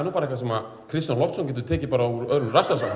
bara eitthvað sem Kristján Loftsson gæti tekið úr öðrum rassvasanum